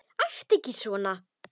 Æptu ekki svona!